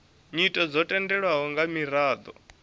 nyito dzo tendelwaho nga miraḓo